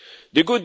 the